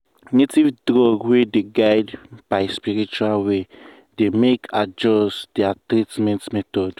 native drug wey dey guided by spiritual way dey make adjust their treatment method.